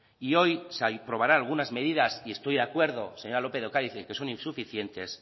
y hoy se aprobarán algunas medidas y estoy de acuerdo señora lópez de ocariz en que son insuficientes